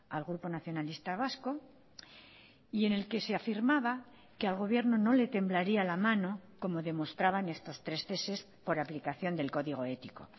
al grupo nacionalista vasco y en el que se afirmaba que al gobierno no le temblaría la mano como demostraban estos tres ceses por aplicación del código ético